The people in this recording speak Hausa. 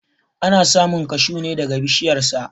Ana samun kashuw ne daga bishiyar sa.